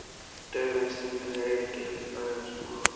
Daufa en stingandi reykjarlykt lagði af Smára og